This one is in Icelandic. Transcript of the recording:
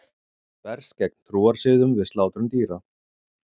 Berst gegn trúarsiðum við slátrun dýra